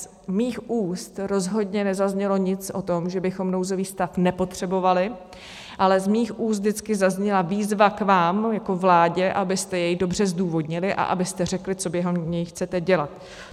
Z mých úst rozhodně nezaznělo nic o tom, že bychom nouzový stav nepotřebovali, ale z mých úst vždycky zazněla výzva k vám jako vládě, abyste jej dobře zdůvodnili a abyste řekli, co během něj chcete dělat.